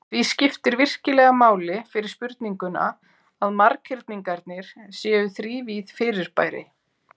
Því skiptir virkilega máli fyrir spurninguna að marghyrningarnir séu þrívíð fyrirbæri.